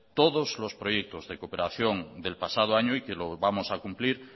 todos los proyectos de cooperación del pasado año y que lo vamos a cumplir